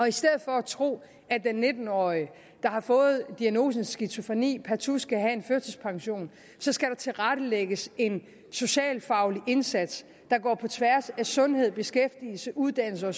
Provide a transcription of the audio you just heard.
i stedet for at tro at den nitten årige der har fået diagnosen skizofreni partout skal have førtidspension skal der tilrettelægges en socialfaglig indsats der går på tværs af sundhed beskæftigelse uddannelse og